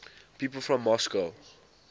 people from moscow